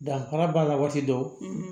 Danfara b'a la waati dɔ